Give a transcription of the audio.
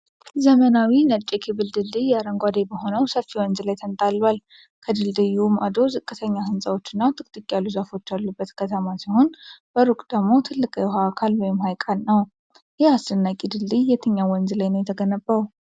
መናዊው ነጭ የኬብል ድልድይ አረንጓዴ በሆነው ሰፊ ወንዝ ላይ ተንጣሏል። ከድልድዩ ማዶ ዝቅተኛ ህንጻዎች እና ጥቅጥቅ ያሉ ዛፎች ያሉበት ከተማ ሲሆን በሩቁ ደግሞ ትልቅ የውሃ አካል (ሐይቅ) ነው። ይህ አስደናቂ ድልድይ የትኛው ወንዝ ላይ ነው የተገነባው?